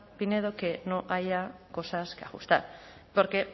pinedo que no haya cosas que ajustar porque